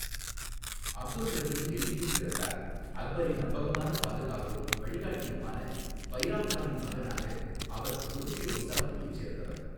அப்துல் ரஹீம் டெல்லியில் பிறந்தார், அக்பரின் நம்பகமான பாதுகாவலரும் வழிகாட்டியுமான பைராம் கானின் மகனாக, அவர் துருக்கிய வம்சாவளியைச் சேர்ந்தவர்.